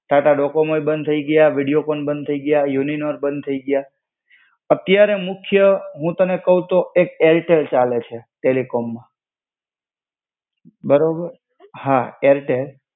ટાટા ડોકોમોએ બંધ થઇ ગયા. વીડિયોકોન બંધ થઇ ગયા. યુનિનોર બંધ થઇ ગયા. અત્યારે મુખ્ય, હું તને કેવ તો, એક એરટેલ ચાલે છે, ટેલિકોમ. બરોબર! હા એરટેલ.